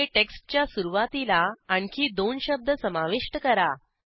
येथे टेक्स्टच्या सुरूवातीला आणखी दोन शब्द समाविष्ट करा